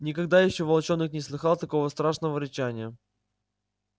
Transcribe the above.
никогда ещё волчонок не слыхал такого страшного рычания